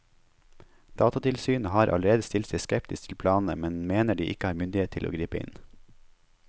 Datatilsynet har allerede stilt seg skeptisk til planene, men mener de ikke har myndighet til å gripe inn.